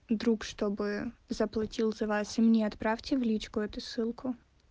друг чтобы заплатил за вас и мне отправьте в личку эту ссылку